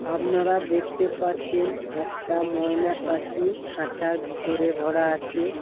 আপনারা দেখতে পাচ্ছেন একটা ময়না পাখি খাঁচার ভিতরে ভরা আছে।